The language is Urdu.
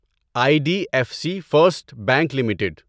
I D F C First Bank limited